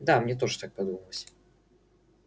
да мне тоже так подумалось